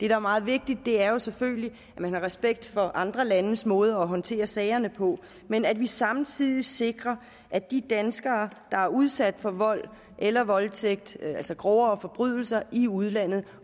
er meget vigtigt er selvfølgelig at man har respekt for andre landes måde at håndtere sagerne på men at man samtidig sikrer at de danskere der er udsat for vold eller voldtægt altså grove forbrydelser i udlandet